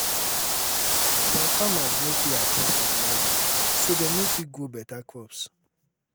some farmers no fit access fertilizer so dem no fit grow better crops.